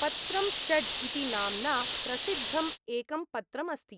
पत्रं षड् इति नाम्ना प्रसिद्धम् एकं पत्रम् अस्ति।